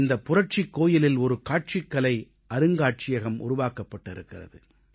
இந்தப் புரட்சிக் கோயிலில் ஒரு காட்சிக்கலை அருங்காட்சியகம் உருவாக்கப்பட்டிருக்கிறது